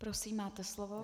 Prosím máte slovo.